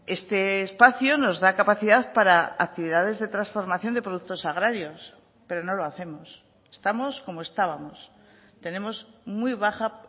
este espacio nos da capacidad para actividades de transformación de productos agrarios pero no lo hacemos estamos como estábamos tenemos muy baja